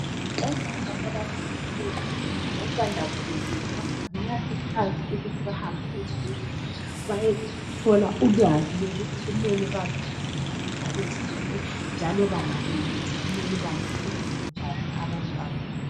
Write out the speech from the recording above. Omama abakhulelweyo labasanda kubeletha bayakhuthazwa ukuthi bahambe ezibhedlela bayethola ulwazi lokuthi kumele bazipathe njani nxa bezithwele njalo bangabeletha kumele banakekele njani abantwa babo